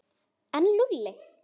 En Lúlli?